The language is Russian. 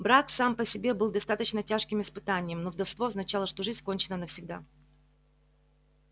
брак сам по себе был достаточно тяжким испытанием но вдовство означало что жизнь кончена навсегда